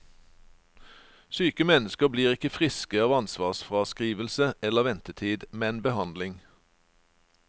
Syke mennesker blir ikke friske av ansvarsfraskrivelse eller ventetid, men behandling.